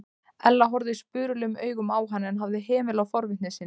Ella horfði spurulum augum á hann en hafði hemil á forvitni sinni.